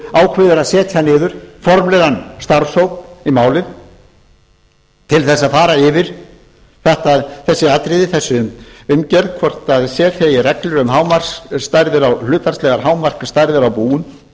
ákveður að setja niður formlegan starfshóp í málið til þess að fara yfir þessi atriði þessa umgjörð hvort setja eigi gengur um hlutfallslegar hámarksstærðir á búum